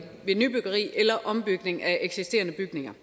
ved nybyggeri eller ombygning af eksisterende bygninger